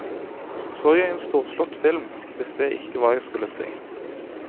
Så jeg en storslått film, visste jeg ikke hva jeg skulle si.